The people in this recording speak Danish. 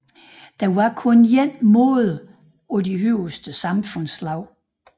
Det var kun en mode for de højeste samfundslag